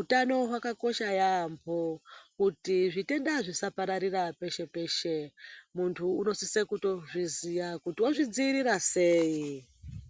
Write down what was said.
Utano hwakakosha yambo kuti zvitenda zvisapararira peshe peshe muntu anosisa kuzviziva kuti ozvidzivirira sei.